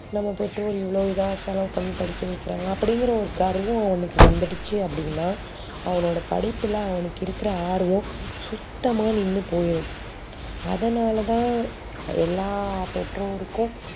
நம்ப பெற்றோர் இவ்ளோ இதா செலவு பண்ணி படிக்க வைக்கிறாங்க அப்டி இங்குற கர்வம் அவனுக்கு வந்துடுச்சி அப்டினா அவனோட படிப்புல அவனுக்கு இருக்குற ஆர்வம் சுத்தமா நின்னு போயிடும் அதா நால தா எல்லா பெட்டோற்கும்